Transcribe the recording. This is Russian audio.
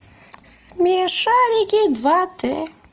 смешарики два д